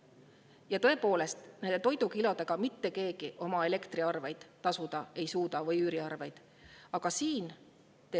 Ja tõepoolest, toidukilodega mitte keegi elektriarveid või üüriarveid tasuda ei suuda.